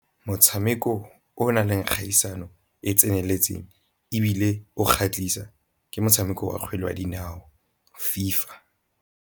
Motshameko o na leng kgaisano e e tseneletseng, ebile o kgatlhisa ke motshameko wa kgwele wa dinao FIFA.